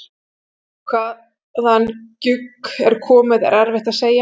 Hvaðan gjugg er komið er erfitt að segja.